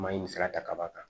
Maɲi sira ta ka b'a kan